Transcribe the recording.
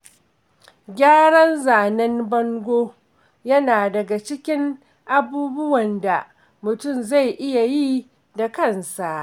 Gyaran zanen bango yana daga cikin abubuwan da mutum zai iya yi da kansa.